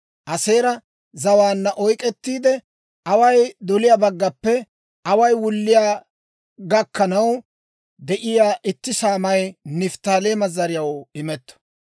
Aaseera zawaanna oyk'k'ettiide, away doliyaa baggappe away wulliyaa gakkanaw de'iyaa itti saamay Nifttaaleema zariyaw imetto.